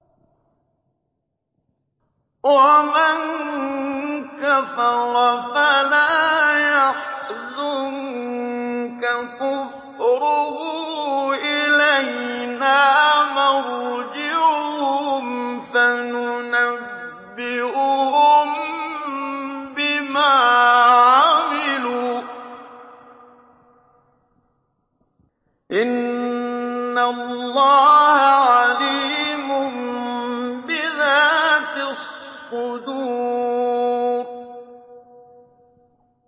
وَمَن كَفَرَ فَلَا يَحْزُنكَ كُفْرُهُ ۚ إِلَيْنَا مَرْجِعُهُمْ فَنُنَبِّئُهُم بِمَا عَمِلُوا ۚ إِنَّ اللَّهَ عَلِيمٌ بِذَاتِ الصُّدُورِ